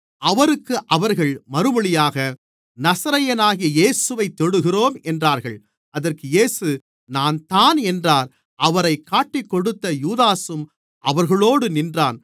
அவருக்கு அவர்கள் மறுமொழியாக நசரேயனாகிய இயேசுவைத் தேடுகிறோம் என்றார்கள் அதற்கு இயேசு நான்தான் என்றார் அவரைக் காட்டிக்கொடுத்த யூதாசும் அவர்களோடு நின்றான்